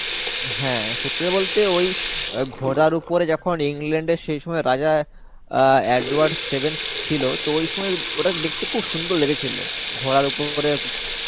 হ্যাঁ, সত্যি কথা বলতে ওই ঘোড়ার উপর যখন England এর সেইসময়এর রাজা আ Edward seventh ছিলো, টা ওই সময় ওটা দেখতে খুব সুন্দর লেগেছিলো. ঘোড়ার উপরে